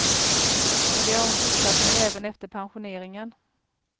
Och det har hon fortsatt med även efter pensioneringen.